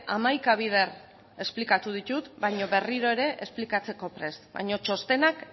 hamaika bider esplikatu ditut baina berriro ere esplikatzeko prest baino txostenak